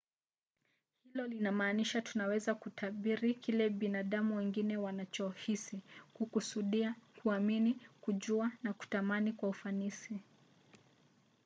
hilo linamaanisha tunaweza kutabiri kile binadamu wengine wanachohisi kukusudia kuamini kujua au kutamani kwa ufanisi